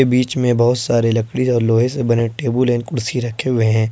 बीच में बहोत सारे लकड़ी और लोहे से बने टेबुल एंड कुर्सी रखे हुए हैं।